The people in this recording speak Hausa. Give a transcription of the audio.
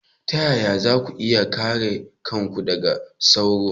Ta yaya za ku iya kare kanku daga sauro?